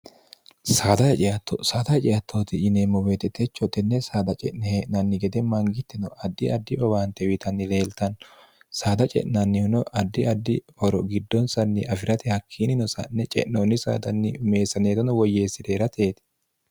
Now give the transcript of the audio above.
saadate ce'atto saada ce'attooti yineemmo woyete techo tenne saada ce'ne hee'nanni gede mangitino addi addi owaante uyiitanni leeltanno saada ce'nannihuno addi addi horo giddonsanni afirate hakkiinnino sa'ne ce'noonni saadanni meessaneetono woyyeessire herateeti.